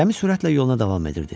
Gəmi sürətlə yoluna davam edirdi.